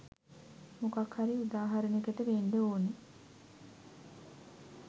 මොකක් හරි උදාහරණෙකට වෙන්ඩ ඕන